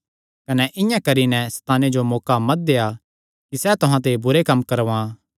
कने इआं करी नैं सैताने जो मौका मत देआ कि सैह़ तुहां ते बुरे कम्म करवां